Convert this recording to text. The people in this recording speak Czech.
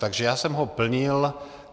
Takže já jsem ho plnil.